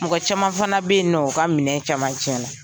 Mɔgɔ caman fana bɛ yen nƆ o ka minɛn caman tiɲɛna.